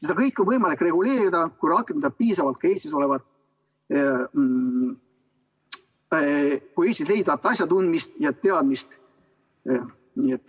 Seda kõike on võimalik reguleerida, kui rakendada piisavalt ka Eestis leiduvat asjatundmist ja teadmist.